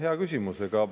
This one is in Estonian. Hea küsimus.